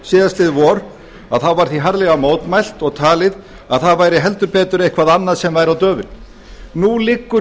síðastliðið vor var því harðlega mótmælt og talið að það væri heldur betur eitthvað annað sem væri á döfinni nú liggur